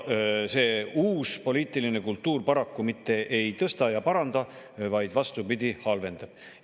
See uus poliitiline kultuur paraku mitte ei tõsta ja ei paranda, vaid vastupidi, halvendab.